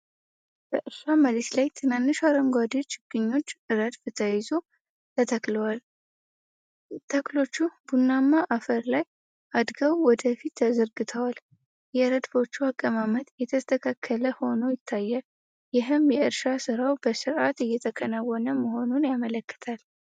በእርሻ መሬት ላይ ትናንሽ አረንጓዴ ችግኞች ረድፍ ተይዞ ተተክለዋል። ተክሎቹ ቡናማ አፈር ላይ አድገው ወደ ፊት ተዘርግተዋል። የረድፎቹ አቀማመጥ የተስተካከለ ሆኖ ይታያል፤ ይህም የእርሻ ሥራው በሥርዓት እየተከናወነ መሆኑን ያመለክታል።